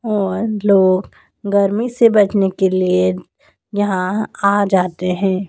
और लोग गर्मी से बचने के लिए यहां आ जाते है।